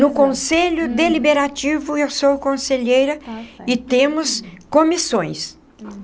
No Conselho Deliberativo, eu sou conselheira e temos comissões.